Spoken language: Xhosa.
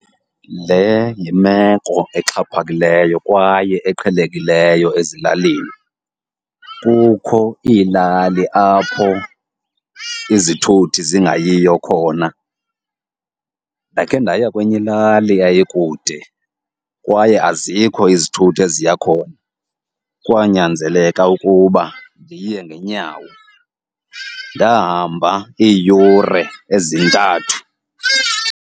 Le yimeko exhaphakileyo kwaye eqhelekileyo ezilalini, kukho iilali apho izithuthi zingayiyo khona. Ndakhe ndaya kwenye ilali eyayikude kwaye azikho izithuthi eziya khona, kwanyanzeleka ukuba ndiye ngeenyawo. Ndahamba iiyure ezintathu.